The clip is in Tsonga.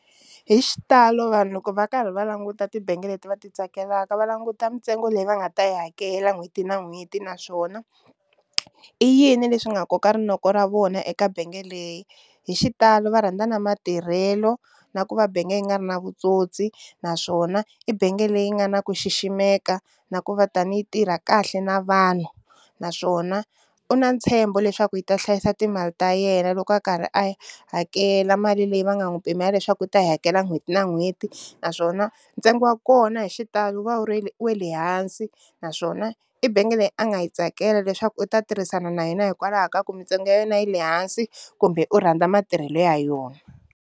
Hi xitalo vanhu loko va karhi va languta tibangi leti va ti tsakelaka va languta mintsengo leyi va nga ta yi hakela n'hweti na n'hweti naswona i yini leswi nga koka rinoko ra vona eka benge leyi, hi xitalo va rhandza na matirhelo na ku va benge leyi nga ri na vutsotsi naswona i benge leyi nga na ku xiximeka na ku va tani yi tirha kahle na vanhu, naswona u na ntshembo leswaku yi ta hlayisa timali ta yena loko a karhi a hakela mali leyi va nga n'wi pimela leswaku u ta yi hakela n'hweti na n'hweti, naswona ntsengo wa kona hi xitalo wu va wu ri wa le hansi naswona i benge leyi a nga yi tsakela leswaku u ta tirhisana na yona hikwalaho ka ku mintsengo ya yona yi le hansi kumbe urhandza matirhelo ya yona.